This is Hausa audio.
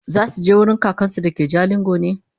zasuje wurin kakansu da ke jalingo ne?